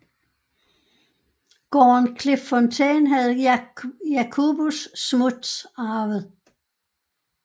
Gården Klipfontein havde Jacobus Smuts arvet